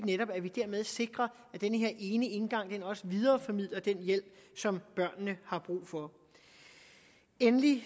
netop dermed sikrer at den her ene indgang også videreformidler den hjælp som børnene har brug for endelig